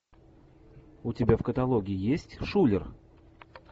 у тебя в каталоге есть шулер